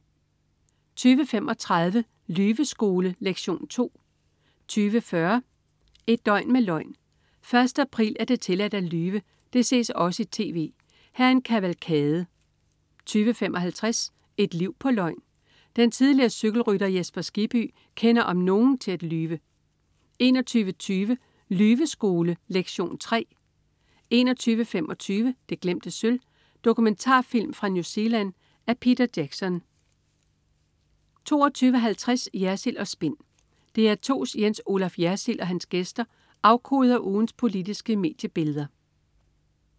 20.35 Lyveskole lektion 2 20.40 Et døgn med løgn. 1. april er det tilladt at lyve. Det ses også i tv. Her er en kavalkade 20.55 Et liv på løgn. Den tidligere cykelrytter Jesper Skibby kender om nogen til at lyve 21.20 Lyveskole lektion 3 21.25 Det glemte sølv. Dokumentarfilm fra New Zealand af Peter Jackson 22.50 Jersild & Spin. DR2's Jens Olaf Jersild og hans gæster afkoder ugens politiske mediebilleder